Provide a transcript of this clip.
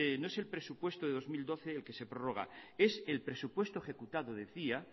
no es el presupuesto de dos mil doce el que se prorroga es el presupuesto ejecutado decía